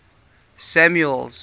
samuel's